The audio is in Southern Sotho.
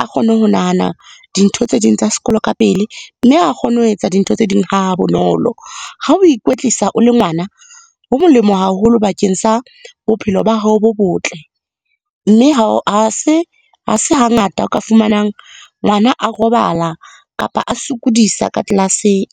a kgone ho nahana dintho tse ding tsa sekolo ka pele, mme a kgone ho etsa dintho tse ding ha bonolo. Ha o ikwetlisa o le ngwana, ho molemo haholo bakeng sa bophelo ba hao bo botle, mme ha se hangata o ka fumanang ngwana a robala kapa a sokodisa ka tlelaseng.